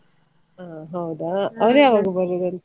ಅಹ್ ಹೌದಾ ಅವರು ಯಾವಾಗ ಬರುದು ಅಲ್ಲಿ?